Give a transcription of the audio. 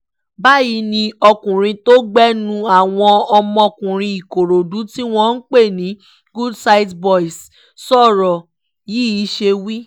báyìí ni ọkùnrin tó gbénú àwọn ọmọkùnrin ìkòròdú tí wọ́n ń pè ní good sight boys sọ̀rọ̀ yìí ṣe wí